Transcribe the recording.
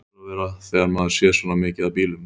Það hlýtur að vera þegar maður sér svona mikið af bílum.